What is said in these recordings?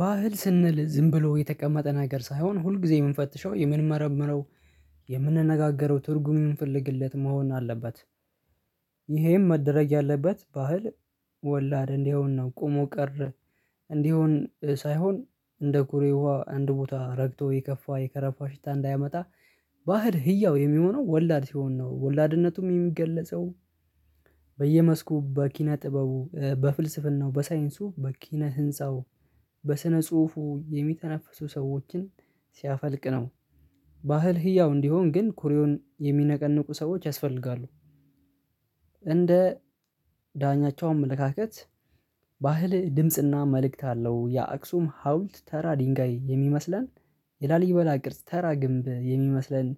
ባህል ስንል ዝም ብሎ የተቀመጠ ነገር ሳይሆን ሁል ጊዜ የምንፈትሸው የምንመረምረው የምንነጋገረው ትርጉም የምንፈልግለት መሆን አለበት። ይሄም መደረግ ያለበት ባህል ወላድ እንዲሆን ነው ቆሞ ቀር። እንዲህ አሁን ሳይሆን እንደ ኩሬ ውሃ አንድ ቦታ ረግቶ የከፋ የከረፋ ሽታ እንዳያመጣ ባህር ህያው የሚሆነው ወላድ ሲሆን ነው ወላድነቱም የሚገለጸው በየመስኩ በኪነ ጥበቡ በፍልስፍናው በሳይንሱ በኪነ ህንፃው በስነ ጽሁፉ የሚተነፍሱ ሰዎችን ሲያፈልቅ ነው። ባህል ህያው እንዲሆን ግን ኩሬውን የሚነቀንቁ ሰዎች ያስፈልጋሉ። እንደ ዳኛቸው አመለካከት ባህል ድምጽና መልእክት አለው የአክሱም ሀውልት ተራ ድንጋይ የሚመስለን የላሊበላ ቅርጽ ተራ ግንብ የሚመስለን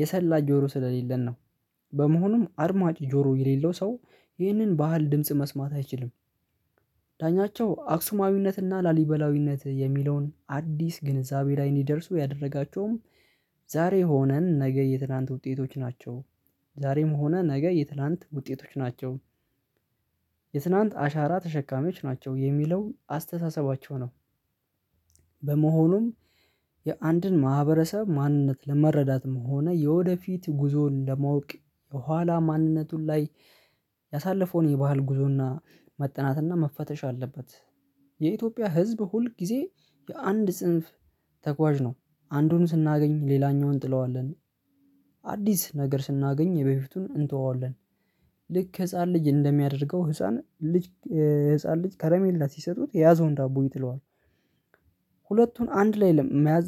የሰላ ጆሮ ስለሌለን ነው። በመሆኑም አድማጭ ጆሮ የሌለው ሰው ይህንን ባህል ድምጽ መስማት አይችልም። ዳኛቸው አክሱማዊነትና ላሊበላዊነት የሚለውን አዲስ ግንዛቤ ላይ እንዲደርሱ ያደረጋቸውም ዛሬ ሆነን ነገ የትላንት ውጤቶች ናቸው ዛሬም ሆነ ነገ የትላንት ውጤቶች ናቸው። የትናንት አሻራ ተሸካሚዎች ናቸው የሚለው አስተሳሰባቸው ነው። በመሆኑም የአንድን ማህበረሰብ ማንነት ለመረዳትም ሆነ የወደፊት ጉዞን ለማወቅ የኋላ ማንነቱን ላይ ያሳለፈውን የባህል ጉዞና መጠናትና መፈተሽ አለበት። የኢትዮጵያ ህዝብ ሁል ጊዜ የአንድ ጽንፍ ተጓዥ ነው። አንዱን ስናገኝ ሌላኛውን እንጥለዋለን። አዲስ ነገር ስናገኝ የበፊቱን እንተወዋለን። ልክ ህፃን ልጅ እንደሚያደርገው ህፃን ልጅ ህፃን ልጅ ከረሜላ ሲሰጡት የያዘውን ዳቦ ይጥለዋል። ሁለቱን አንድ ላይ መያዝ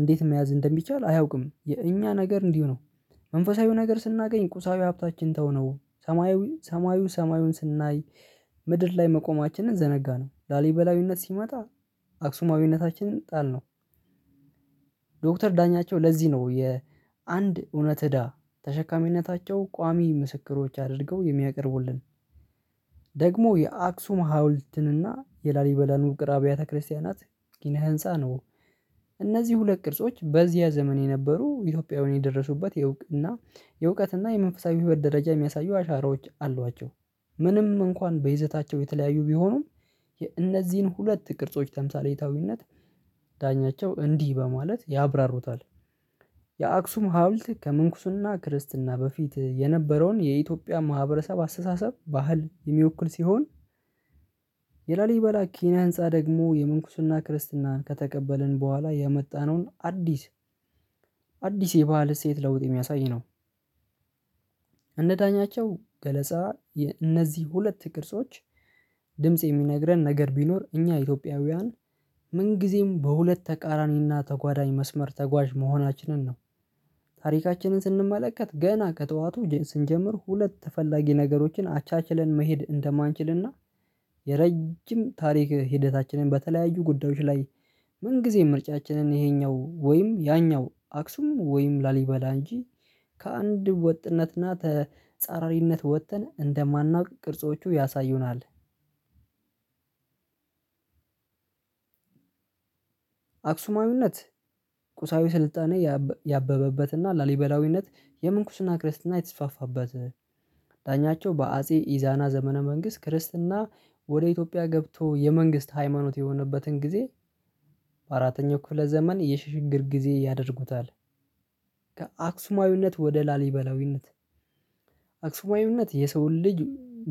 እንዴት መያዝ እንደሚቻል አያውቅም። የኛ ነገር እንዲሁ ነው። መንፈሳዊው ነገር ስናገኝ ቁሳዊ ሀብታችን ተው ነው ሰማዩ ሰማዩን ሰማዩን ስናይ ምድር ላይ መቆማችንን ዘነጋነው ላሊበላዊነት ሲመጣ አክሱማዊነታችንን ጣልነው። ዶክተር ዳኛቸው ለዚህ ነው የአንድ እውነት እዳ ተሸካሚነታቸው ቋሚ ምስክሮች አድርገው የሚያቀርቡልን ደግሞ የአክሱም ሀውልትንና የላሊበላ ውቅር አብያተ ክርስቲያናት ጊና ህንፃ ነው። እነዚህ ሁለት ቅርጾች በዚህ ዘመን የነበሩ ኢትዮጵያውያን የደረሱበት የእውቅና የእውቀትና የመንፈሳዊ ህይወት ደረጃ የሚያሳዩ አሻራዎች አሏቸው። ምንም እንኳን በይዘታቸው የተለያዩ ቢሆኑም የእነዚህን ሁለት ቅርጾች ተምሳሌታዊነት ዳኛቸው እንዲህ በማለት ያብራሩታል። የአክሱም ሀውልት ከመንኩሱና ክርስትና በፊት የነበረውን የኢትዮጵያ ማህበረሰብ አስተሳሰብ ባህል የሚወክል ሲሆን። የላሊበላ ኪኒያ ህንፃ ደግሞ የመንኩስና ክርስትናን ከተቀበልን በኋላ ያመጣነውን አዲስ አዲስ የባህል ሴት ለውጥ የሚያሳይ ነው። እንደዳኛቸው ገለጻ እነዚህ ሁለት ቅርጾች ድምጽ የሚነግረን ነገር ቢኖር እኛ ኢትዮጵያውያን ምን ጊዜም በሁለት ተቃራኒና ተጓዳኝ መስመር ተጓዥ መሆናችንን ነው። ታሪካችንን ስንመለከት ገና ከጠዋቱ ስንጀምር ሁለት ተፈላጊ ነገሮችን አቻችለን መሄድ እንደማንችልና የረጅም ታሪክ ሂደታችንን በተለያዩ ጉዳዮች ላይ ምን ጊዜም ምርጫችንን ይሄኛው ወይም ያኛው አክሱምን ወይም ላሊበላ እንጂ ከአንድ ወጥነትና ተጻራሪነት ወጥተን እንደማናውቅ ቅርጾቹ ያሳዩናል። አክሱማዊነት ቁሳዊ ስልጣኔ ያበበበትና ላሊበላዊነት የመንኩስና ክርስትና የተስፋፋበት ዳኛቸው በአጼ ኢዛና ዘመነ መንግስት ክርስትና ወደ ኢትዮጵያ ገብቶ የመንግስት ሃይማኖት የሆነበትን ጊዜ በአራተኛው ክፍለ ዘመን የሽሽግር ጊዜ ያደርጉታል። ከአክሱማዊነት ወደ ላሊበላዊነት አክሱማዊነት የሰው ልጅ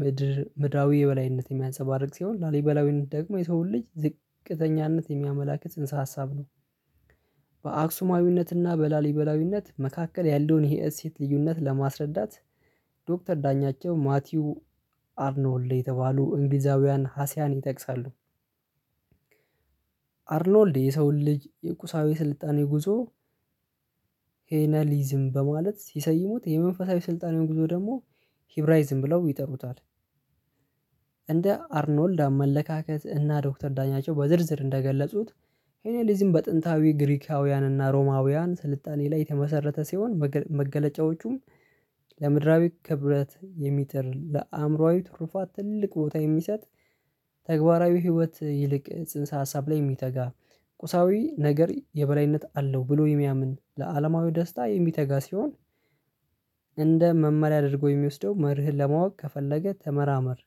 ምድር ምድራዊ የበላይነት የሚያንሰባርቅ ሲሆን ላሊበላዊነት ደግሞ የሰውን ልጅ ዝቅተኛነት የሚያመላክት እንስሳ ሀሳብ ነው። በአክሱማዊነትና በላሊበላዊነት መካከል ያለውን የእሴት ልዩነት ለማስረዳት ዶክተር ዳኛቸው ማቲው አርኖልድ የተባሉ እንግሊዛውያን ሀሲያን ይጠቅሳሉ። አርኖልድ የሰውን ልጅ የቁሳዊ ስልጣኔ ጉዞ ሄነሊዝም በማለት ሲሰይሙት የመንፈሳዊ ስልጣኔው ጉዞ ደግሞ ሂብራይዝም ብለው ይጠሩታል። እንደ አርኖልድ አመለካከት እና ዶክተር ዳኛቸው በዝርዝር እንደገለጹት ሄኔሊዝም በጥንታዊ ግሪካውያን እና ሮማውያን ስልጣኔ ላይ የተመሰረተ ሲሆን መገለጫዎቹም ለምድራዊ ክብረት የሚትር ለአእምሮአዊ ትርፋት ትልቅ ቦታ የሚሰጥ ተግባራዊ ህይወት ይልቅ ጽንሰ ሀሳብ ላይ የሚተጋ ቁሳዊ ነገር የበላይነት አለው ብሎ የሚያምን ለአለማዊ ደስታ የሚተጋ ሲሆን። እንደ መመሪያ አድርጎ የሚወስደው መርህን ለማወቅ ከፈለገ ተመራመር።